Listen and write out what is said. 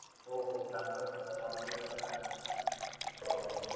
हो मध्ये पण आहे. आह जर